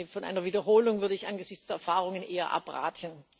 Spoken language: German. Von einer Wiederholung würde ich angesichts der Erfahrungen eher abraten.